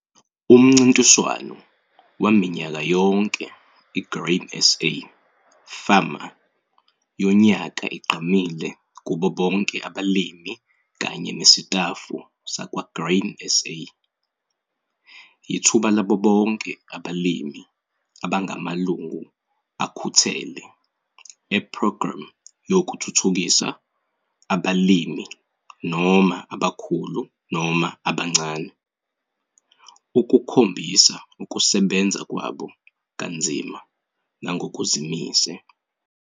UMNCINTISWANO WAMINYAKA YONKE IGRAIN SA FARMER YONYAKA IGQAMILE KUBO BONKE ABALIMI KANYE NESITAFU SAKWA-GRAIN SA. YITHUBA LABO BONKE ABALIMI ABANGAMALUNGU AKHUTHELE E-PROGRAMME YOKUTHUTHUKISA ABALIMI, NOMA ABAKHULU NOMA ABANCANE, UKUKHOMBISA UKUSEBENZA KWABO KANZIMA NANGOKUZIMISE.